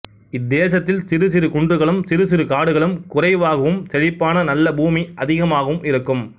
இத்தேசத்தில் சிறு சிறு குன்றுகளும் சிறு சிறு காடுகளும் குறைவாகவும் செழிப்பான நல்ல பூமி அதிகமாகவும் இருக்கும்